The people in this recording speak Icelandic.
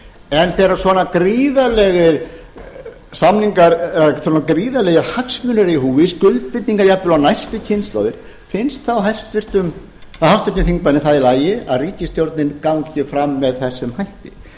en þegar svona gríðarlegir hagsmunir eru í húfi skuldbindingar jafnvel á næstu kynslóðir finnst þá háttvirtum þingmanni það í lagi að ríkisstjórnin gangi fram með þessum hætti